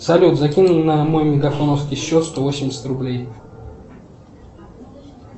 салют закинь на мой мегафоновский счет сто восемьдесят рублей